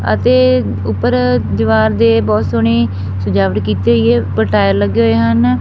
ਅਤੇ ਉਪਰ ਦੀਵਾਰ ਦੇ ਬੋਹਤ ਸੋਹਣੀਂ ਸਜਾਵਟ ਕੀਤੀ ਹੋਈ ਏ ਉੱਪਰ ਟਾਇਲ ਲੱਗੇ ਹੋਏ ਹਨ।